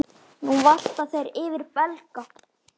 Nú valta þeir yfir Belga.